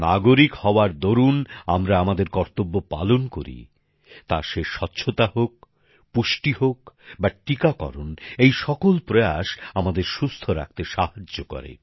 নাগরিক হওয়ার দরুন আমরা আমাদের কর্তব্য পালন করি তা সে স্বচ্ছতা হোক পুষ্টি হোক বা টিকাকরণ এই সকল প্রয়াস আমাদের সুস্থ রাখতে সাহায্য করে